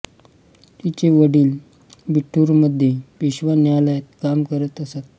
तिचे वडील बिठूरमध्ये पेशवा न्यायालयात काम करत असत